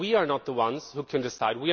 Because we are not the ones who can decide